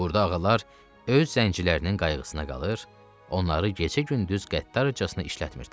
Burada ağalar öz zəncilərinin qayğısına qalır, onları gecə-gündüz qəddarcasına işlətmirdilər.